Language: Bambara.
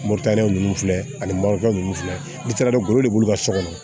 Moritaniyɛn ninnu filɛ ani moritigɛ ninnu filɛ n'i taara don golo de b'u ka so kɔnɔ